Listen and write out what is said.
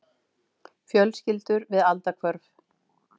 Fjölskyldur við aldahvörf.